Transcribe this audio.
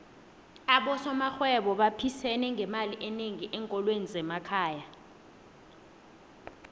abosomarhwebo baphisene ngemali enengi enkolweni zemakhaya